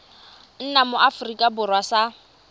nna mo aforika borwa sa